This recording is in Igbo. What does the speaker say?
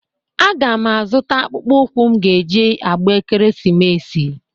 Aga m azụta akpụkpọụkwụ m ga-e ji agba ekeresimesi.